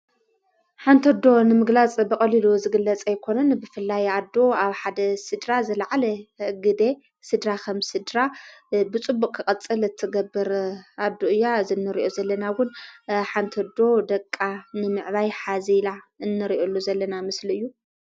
ሓንቲ ኣዶ ንምግላጽ በቐሊሉ ዝግለጸ ይኮንን ብፍላይ ኣዶ ኣብ ሓደ ሥድራ ዘለዓለ ግደ ሥድራ ኸም ስድራ ብጽቡቕ ቐጽል እትገብር ኣዶ እያ ዝነርእዮ ዘለናውን ሓንቲ ኣዶ ደቃ ንምዕባይ ሓዚላ እንርእዩሉ ዘለና ምስል እዩ።